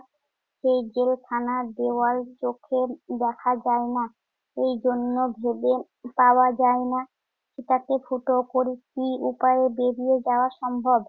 সেই জেলখানার দেয়াল চোখে দেখা যায় না। এই জন্য ভেবে পাওয়া যায় না তাতে ফুটো করে কি উপায়ে বেরিয়ে যাওয়া সম্ভব?